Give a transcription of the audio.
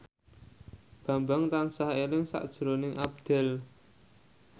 Bambang tansah eling sakjroning Abdel